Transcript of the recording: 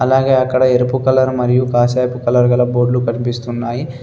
అలాగే అక్కడ ఎరుపు కలర్ మరియు కాషాయపు కలర్ గల బోర్డులు కనిపిస్తున్నాయి.